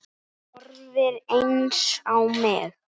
Þú horfir eins á mig.